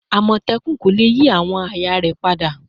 Amotekun ko le yi awọn aaye rẹ pada